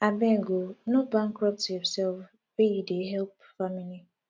abeg o no bankrupt yoursef wey you dey help family